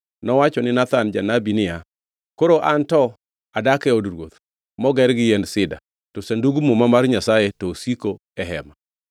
nowacho ni Nathan janabi niya, “Koro anto adak e od ruoth moger gi yiend sida, to Sandug muma mar Nyasaye to osiko e hema.”